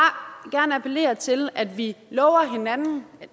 gerne appellere til at vi lover hinanden